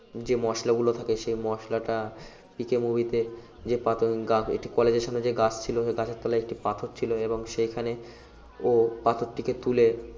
যে মসলাগুলো থাকে সে মসলাটা পিকে movie তে একটি পাথর গা একটি কলেজের সামনে একটি গাছ ছিল সেই গাছের তলায় একটি পাথর ছিল এবং সেইখানে ও পাথরটিকে তুলে